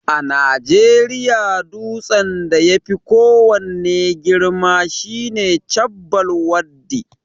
A najeriya dutsen da yafi ko wanne girma shine Chabbal Waddi